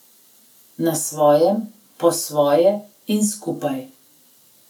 Na svojem, po svoje in skupaj.